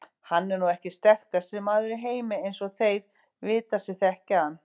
Hann er nú ekki sterkasti maður í heimi eins og þeir vita sem þekkja hann.